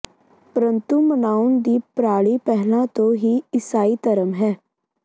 ਪਰੰਤੂ ਮਨਾਉਣ ਦੀ ਪ੍ਰਣਾਲੀ ਪਹਿਲਾਂ ਤੋਂ ਹੀ ਈਸਾਈ ਧਰਮ ਹੈ